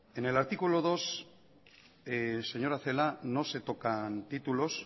en el artículo dos señora celaá no se tocan títulos